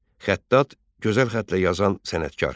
Xəttat gözəl xətlə yazan sənətkar.